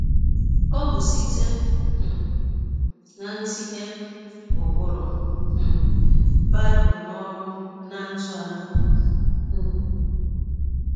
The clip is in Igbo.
Ọ bụ site um n’itinye ụkpụrụ um Bible n’ọrụ ná ndụ anyị. um